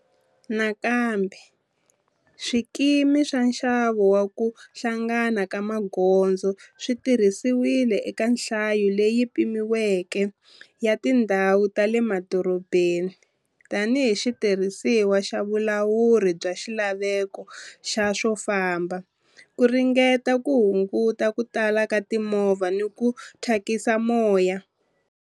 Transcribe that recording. Nakambe, swikimi swa nxavo wa ku hlangana ka magondzo swi tirhisiwile eka nhlayo leyi pimiweke ya tindhawu ta le madorobeni tanihi xitirhisiwa xa vulawuri bya xilaveko xa swo famba ku ringeta ku hunguta ku tala ka timovha na ku thyakisa moya.